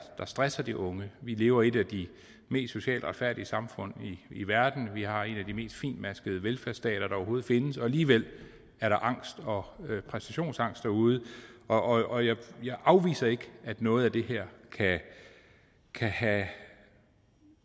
der stresser de unge vi lever i et af de mest socialt retfærdige samfund i verden vi har en af de mest fintmaskede velfærdsstater der overhovedet findes og alligevel er der angst og præstationsangst derude og jeg afviser ikke at noget af det her kan have